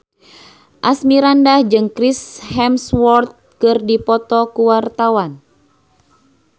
Asmirandah jeung Chris Hemsworth keur dipoto ku wartawan